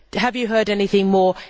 Have you heard anything more?